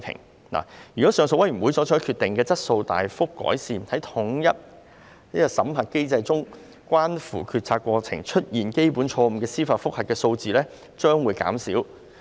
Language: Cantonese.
如果酷刑聲請上訴委員會所作決定的質素大幅改善，在統一審核機制中關乎決策過程出現基本錯誤的司法覆核數字將會減少。